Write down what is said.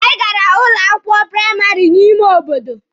Anyị gara ụlọ akwụkwọ praịmarị n'ime obodo.